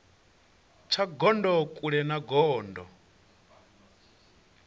tsha gondo kule na gondo